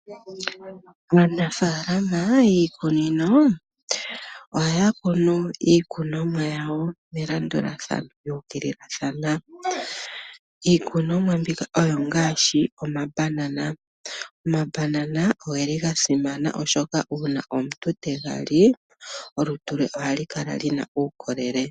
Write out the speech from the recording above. Aanafaalama yiikunino ohaya kunu iikunomwa yawo melandulathano lyuukililathana . Iikunomwa mbika oyo ngaashi omambanana. Omambanana ogeli gasimana oshoka uuna omuntu tega li olutu lwe ohalu kala luna uukolele.